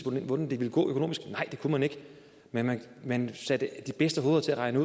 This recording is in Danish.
hvordan det ville gå økonomisk nej det kunne man ikke men man man satte de bedste hoveder til at regne